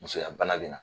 Musoya bana bɛ na